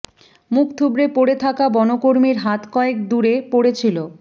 মুখ থুবড়ে পড়ে থাকা বনকর্মীর হাত কয়েক দূরে পড়েছিল